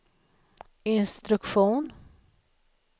instruktion